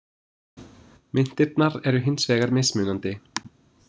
Myntirnar eru hins vegar mismunandi.